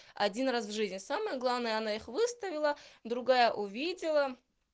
один раз в жизни самое главное она их выставила другая увидела